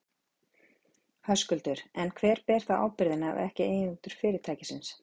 Höskuldur: En hver ber þá ábyrgðina, ef ekki eigendur fyrirtækisins?